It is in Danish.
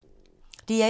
DR1